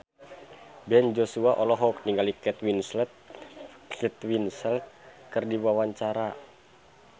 Ben Joshua olohok ningali Kate Winslet keur diwawancara